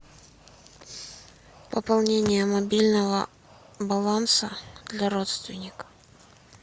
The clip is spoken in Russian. пополнение мобильного баланса для родственника